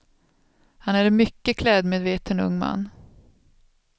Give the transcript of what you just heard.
Han är en mycket klädmedveten ung man.